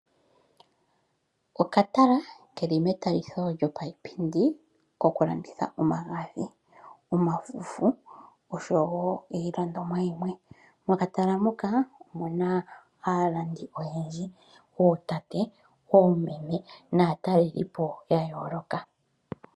Okatala keli meuliko lyiipindi koku landitha omagadhi, omafufu oshowo iilandomwa yimwe. Mokatala moka omuna aalandi oyendji ootate, oomeme naatalelipo ya yooloka.